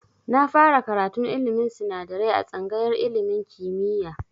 Na fara karatun ilmin sinadarai a tsangayar ilmin kimiya